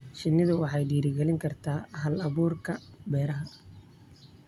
Shinnidu waxay dhiirigelin kartaa hal-abuurka beeraha.